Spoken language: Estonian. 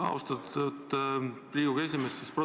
Austatud Riigikogu esimees!